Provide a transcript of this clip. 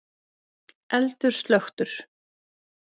Eldur slökktur